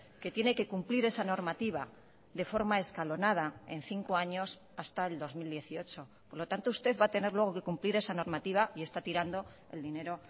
que tiene que cumplir esa normativa de forma escalonada en cinco años hasta el dos mil dieciocho por lo tanto usted va a tener luego que cumplir esa normativa y está tirando el dinero